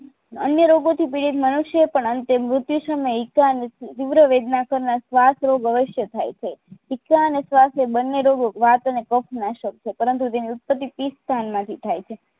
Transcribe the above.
અન્ય રોગોથી પીડિત મનુષ્ય પણ અંતે મૃત્યુ સમયે એકાંત અને તીવ્ર કરનાર શ્વાસ રોગો અવસ્ય થાય છે ચિકાસ અને શ્વાસ રોગો વાત અને કફ નાશક છે પરંતુ તે અનુપતી પિત્ત સ્થાનમાંથી થાય છે